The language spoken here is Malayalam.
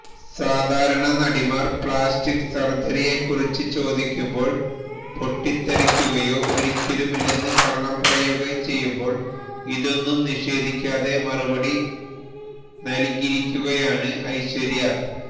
സാധാരണ നടിമാര് പ്ലാസ്റ്റിക് സര്ജറിയേക്കുറിച്ച് ചോദിക്കുമ്പോള് പൊട്ടിത്തെറിക്കുകയോ ഒരിക്കലുമില്ലെന്ന് കള്ളം പറയുകയോ ചെയ്യുമ്പോള് ഇതൊന്നും നിഷേധിക്കാതെ മറുപടി നല്കിയിരിക്കുകയാണ് ഐശ്വര്യ